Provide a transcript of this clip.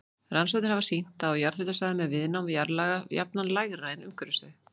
Rannsóknir hafa sýnt að á jarðhitasvæðum er viðnám jarðlaga jafnan lægra en umhverfis þau.